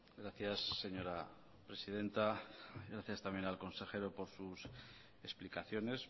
gracias señora presidenta gracias también al consejero por sus explicaciones